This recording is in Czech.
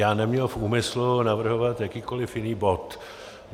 Já neměl v úmyslu navrhovat jakýkoliv jiný bod.